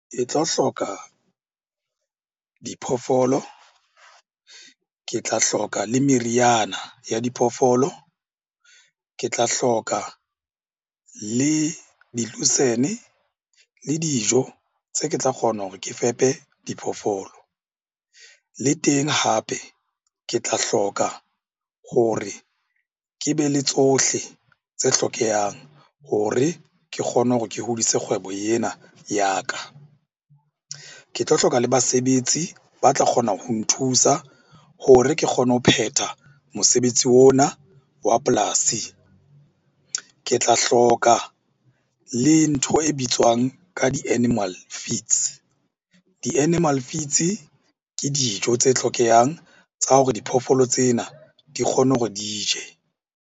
E tlo hloka diphoofolo. Ke tla hloka le meriana ya diphoofolo, ke tla hloka le di-lucerne, le dijo tse ke tla kgona hore ke fepe diphoofolo. Le teng hape, ke tla hloka hore ke be le tsohle tse hlokehang hore ke kgone hore ke hodise kgwebo ena ya ka. Ke tlo hloka le basebetsi ba tla kgona ho nthusa hore ke kgone ho phetha mosebetsi ona wa polasi. Ke tla hloka le ntho e bitswang ka di-animal feeds. Di-animal feeds ke dijo tse hlokehang tsa hore diphoofolo tsena di kgone hore di je.